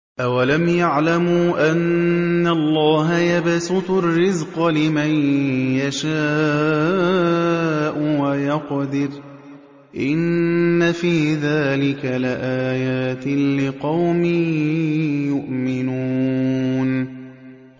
أَوَلَمْ يَعْلَمُوا أَنَّ اللَّهَ يَبْسُطُ الرِّزْقَ لِمَن يَشَاءُ وَيَقْدِرُ ۚ إِنَّ فِي ذَٰلِكَ لَآيَاتٍ لِّقَوْمٍ يُؤْمِنُونَ